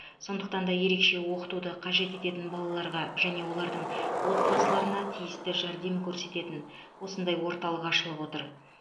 сондықтан да ерекше оқытуды қажет ететін балаларға және олардың отбасыларына тиісті жәрдем көрсететін осындай орталық ашылып отыр